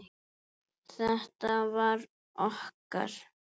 Þetta var okkar.